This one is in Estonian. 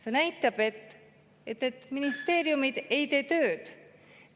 See näitab, et ministeeriumid ei tee tööd.